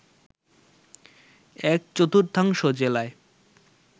এক-চতুর্থাংশ জেলায়